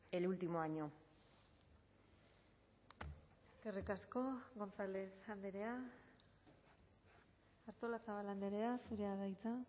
el último año eskerrik asko gonzález andrea artolazabal andrea zurea da hitza